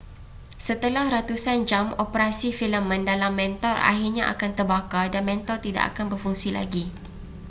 setelah ratusan jam operasi filamen dalam mentol akhirnya akan terbakar dan mentol tidak akan berfungsi lagi